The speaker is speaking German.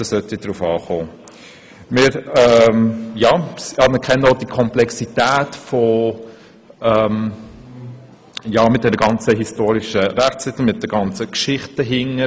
» Wir anerkennen auch die Komplexität der Geschichte des Verhältnisses von Kirche und Staat im Kanton Bern, mit den Rechtstiteln etc.